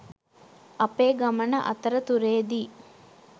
අපේ ගමන අතරතුරේදී